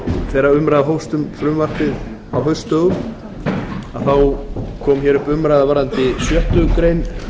þegar umræða hófst um frumvarpið á haustdögum kom hér upp umræða um sjöttu greinar